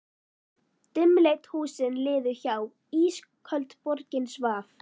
Dimmleit húsin liðu hjá, ísköld borgin svaf.